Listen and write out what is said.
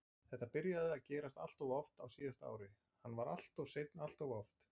Þetta byrjaði að gerast alltof oft á síðasta ári, hann var alltof seinn alltof oft.